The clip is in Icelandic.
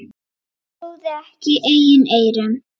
Hann trúði ekki eigin eyrum.